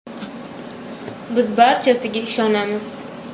Biz barchasiga ishonamiz.